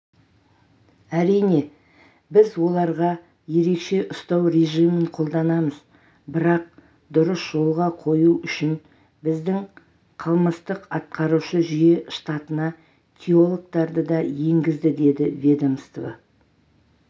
әрине біз оларға ерекше ұстау режимін қолданамыз бірақ дұрыс жолға қою үшін біздің қалмыстық-атқарушы жүйе штатына теологтарды да енгізді дед ведомство